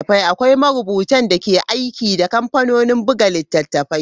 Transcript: Akwai marubutan da ke aiki da kamfanonin buga littattafai.